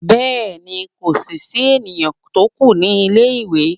bẹẹni, ko si sí enìyan to kù ní ilé ìwé